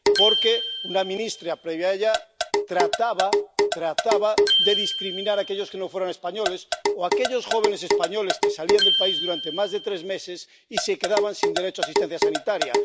porque una ministra, previa a ella, trataba de discriminar a aquellos que no fueran españoles o a aquellos jóvenes españoles que salían del país durante más de tres meses y se quedaban sin derecho a asistencia sanitaria